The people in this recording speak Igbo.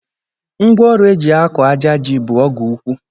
Ngwa ọrụ e ji akọ àjà ji bụ ọgụ ụkwụ